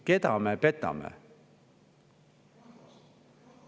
Keda me petame?